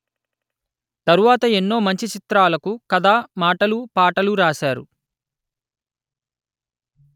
తరువాత ఎన్నో మంచి చిత్రాలకు కధ మాటలు పాటలు రాశారు